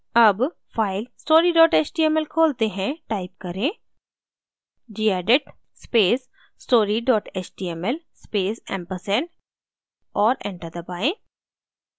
अब file story html खोलते हैं टाइप करें gedit space story html space ampersand और enter दबाएँ